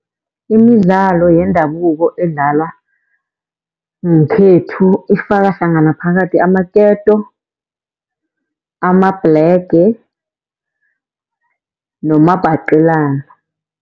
Imidlalo yendabuko edlalwa ngekhethu ifaka hlangana phakathi amaketo, amabhlege nomabhaqelana.